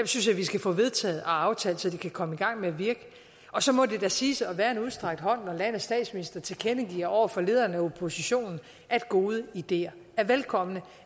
synes jeg vi skal få vedtaget og aftalt så de kan komme i gang med at virke og så må det da siges at være en udstrakt hånd når landets statsminister tilkendegiver over for lederen af oppositionen at gode ideer er velkomne og